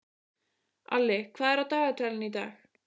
Alli, hvað er á dagatalinu í dag?